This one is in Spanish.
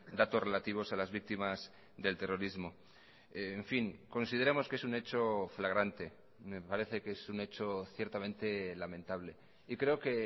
datos relativos a las víctimas del terrorismo en fin consideramos que es un hecho flagrante me parece que es un hecho ciertamente lamentable y creo que